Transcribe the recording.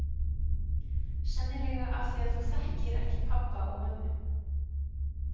Sennilega af því að þú þekkir ekki pabba og mömmu.